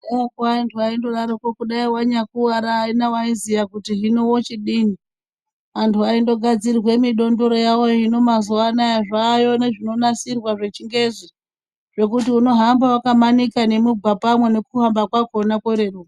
Kudhayako anthuu aindodaro kudai wanyakuwara aina waziya kuti hino wochidini. Anthu aindogadzirirwa midondoro yawoyo hino mazuwano zvayo nezvinonasirwa zvechingezi zvekuti unohamba wakamanika mugwapamwo nokuhamba kwakona kworeruka.